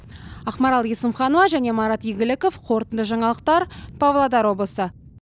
ақмарал есімханова және марат игіліков қорытынды жаңалықтар павлодар облысы